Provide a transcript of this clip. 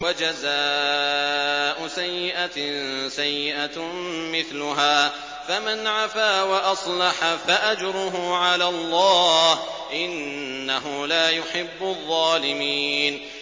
وَجَزَاءُ سَيِّئَةٍ سَيِّئَةٌ مِّثْلُهَا ۖ فَمَنْ عَفَا وَأَصْلَحَ فَأَجْرُهُ عَلَى اللَّهِ ۚ إِنَّهُ لَا يُحِبُّ الظَّالِمِينَ